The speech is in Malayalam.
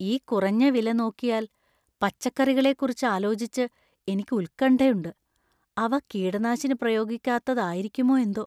ഈ കുറഞ്ഞ വില നോക്കിയാല്‍, പച്ചക്കറികളെക്കുറിച്ച് ആലോചിച്ച് എനിക്ക് ഉത്ക്കണ്ഠയുണ്ട്, അവ കീടനാശിനി പ്രയോഗിക്കാത്തതായിരിക്കുമോ എന്തോ.